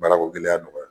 Baarako gɛlɛya nɔgɔya